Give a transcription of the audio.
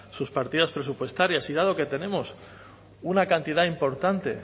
sus partidas presupuestarias y dado que tenemos una cantidad importante